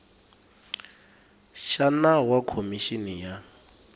xa nawu wa khomixini ya